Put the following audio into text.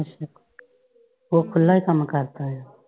ਅੱਛਾ ਉਹ ਖੁੱਲ੍ਹਾ ਈ ਕੰਮ ਕਰਦਾ ਏ ਆ।